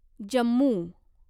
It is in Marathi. जम्मू